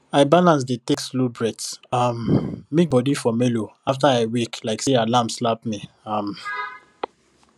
i balance dey take slow breath um make body for mellow after i wake like say alarm slap me um